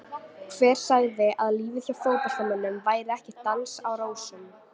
Hver sagði að lífið hjá fótboltamönnum væri ekki dans á rósum?